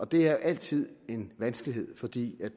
det er altid en vanskelighed fordi